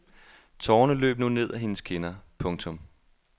Tårerne løb nu ned ad hendes kinder. punktum